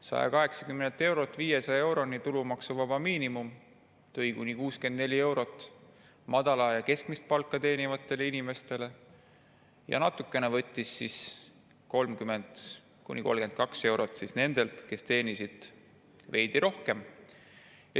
Tulumaksuvaba miinimumi 180 eurolt 500 euroni tõi madalat ja keskmist palka teenivatele inimestele kuni 64 eurot, ja võttis natukene ehk 30–32 eurot nendelt, kes teenisid veidi rohkem.